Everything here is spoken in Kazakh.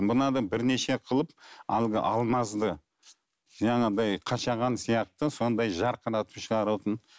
мынадан бірнеше қылып әлгі алмазды жаңағыдай қашаған сияқты сондай жарқыратып шығаратын